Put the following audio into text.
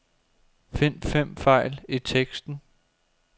Find fem fejl i teksten.